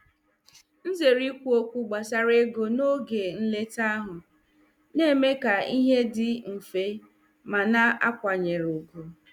M zere ikwu okwu gbasara ego n'oge nleta ahụ, na-eme ka ihe dị mfe ma na-akwanyere ùgwù.